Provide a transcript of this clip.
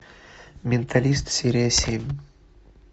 менталист серия семь